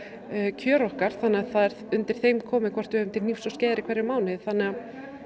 kjör okkar þannig að það er undir þeim komið hvort við höfum til hnífs og skeiðar í hverjum mánuði þannig að